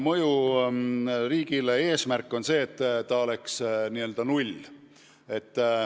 Riigi eesmärk on, et fiskaalne mõju oleks null.